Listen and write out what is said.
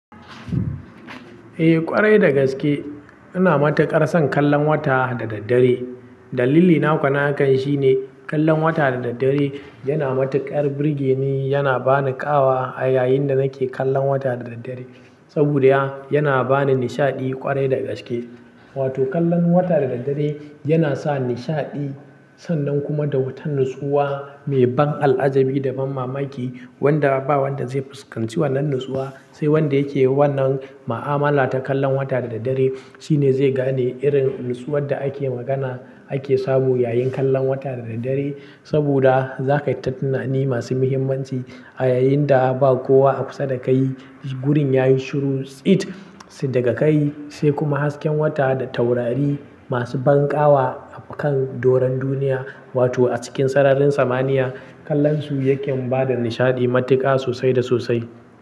Eh ƙwarai da gaske, ina matuƙar son kallon wata da daddare. Dalili na kwa na hakan shi ne kallon wata da daddare yana matuƙar birge ni, yana bani ƙawa a yayin da nake kallon wata da daddare. Saboda ya yana bani nishaɗi ƙwarai da gaske. Wato kallon wata da daddare yana sa nishaɗi sannan kuma da wata nutsuwa mai ban al'ajabi da ban mamaki wanda ba wanda zai fuskanci wannan natsuwa, sai wanda yake wannan ma'amala ta kallon wata da daddare, shine zai gane irin nutsuwad da ake magana ake samu yayin kallon wata da daddare. Saboda za kai ta tunani masu muhimmanci a yayin da ba kowa a kusa da kai gurin ya yi shiru tsit daga kai sai kuma hasken wata da taurari masu ban ƙawa a kan doron duniya wato a cikin sararin samaniya kallonsu yaken bada nishaɗi matuƙa sosai da sosai.